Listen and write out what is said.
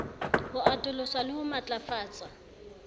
ho atolosa le ho matlafatsa